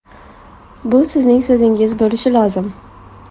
Bu sizning so‘zingiz bo‘lishi lozim.